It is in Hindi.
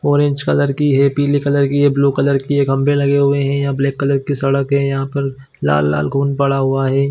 --ऑरेंज कलर की है पीले कलर की है ब्लू कलर की है खम्बे लगे हुए है यह ब्लैक कलर की सड़क है यहां पर लाल-लाल खून पड़ा हुआ है।